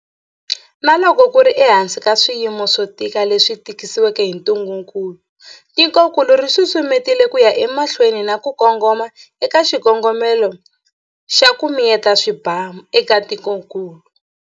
Na loko ku ri ehansi ka swiyimo swo tika leswi tisiweke hi ntungukulu, tikokulu ri susumetile ku ya emahlweni na ku kongoma eka xikongomelo xa 'ku miyeta swibamu' eka tikokulu.